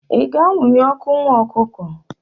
ị ga-anwụnye otu nwa ọkụkọ?